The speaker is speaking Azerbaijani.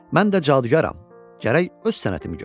mən də cadugaram, gərək öz sənətimi göstərəm.